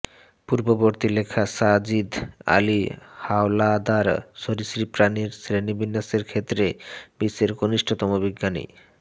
পূর্ববর্তী লেখা সাজিদ আলী হাওলাদারঃ সরীসৃপ প্রাণির শ্রেণিবিন্যাসের ক্ষেত্রে বিশ্বের সর্বকনিষ্ঠ বিজ্ঞানী